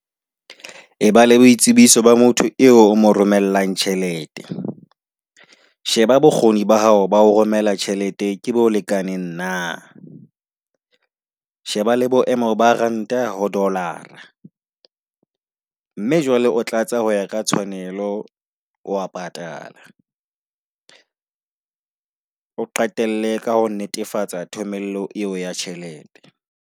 E bala boitsebiso ba motho eo o mo romellang tjhelete. Sheba bokgoni ba hao ba o romela tjhelete ke bo lekane na. Sheba le boemo ba ranta ho Dollar-a, mme jwale o tlatsa ho ya ka tshwanelo wa patala. o qetelle ka ho netefatsa thomello eo ya tjhelete.